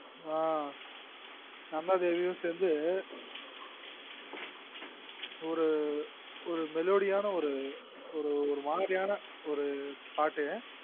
ஆ நம்மதேவியும் சேந்து ஒரு melodie யான ஒரு மாரியான ஒரு பாட்டு